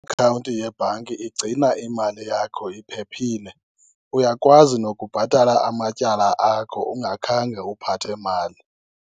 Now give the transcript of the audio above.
Yebhanki igcina imali yakho iphephile. Uyakwazi nokubhatala amatyala akho ungakhange uphathe mali.